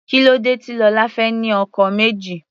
Kílódé tí Lola fẹ́ ní ọkọ méjì.